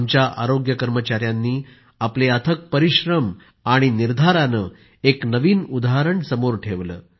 आमच्या आरोग्य कर्मचाऱ्यांनी आपले अथक परिश्रम आणि निर्धारानं एक नवीन उदाहरण समोर ठेवलं